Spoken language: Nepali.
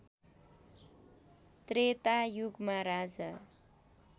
त्रेता युगमा राजा